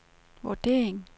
vurdering